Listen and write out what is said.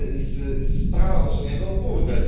z prawa unijnego burdel.